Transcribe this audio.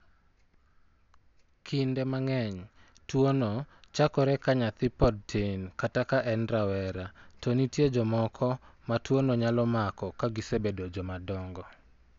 Kinde mang'eny, tuwono chakore ka nyathi pod tin kata ka en rawera, to nitie jomoko ma tuwono nyalo mako ka gisebedo joma dongo.